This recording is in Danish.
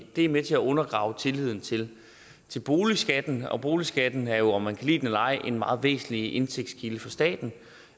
er med til at undergrave tilliden til boligskatten og boligskatten er jo om man kan lide den eller ej en meget væsentlig indtægtskilde for staten